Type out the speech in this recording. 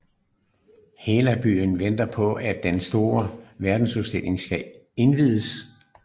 Hela byen venter på at den store verdensudstilling skal indviges